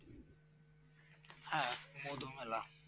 হ্যাঁ মধুমেলা